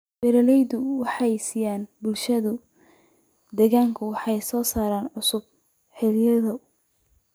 Beeraleydu waxay siiyaan bulshada deegaanka wax soo saar cusub oo xilliyeed ah.